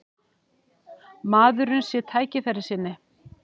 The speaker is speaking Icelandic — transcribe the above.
Maðurinn sé tækifærissinni